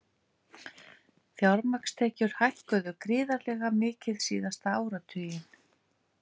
Fjármagnstekjur hækkuðu gríðarlega mikið síðasta áratuginn